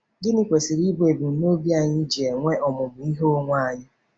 Gịnị kwesịrị ịbụ ebumnobi anyị ji enwe ọmụmụ ihe onwe onye?